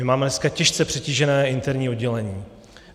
My máme dneska těžce přetížené interní oddělení.